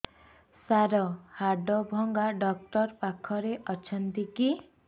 ସାର ହାଡଭଙ୍ଗା ଡକ୍ଟର ପାଖରେ ଅଛନ୍ତି କି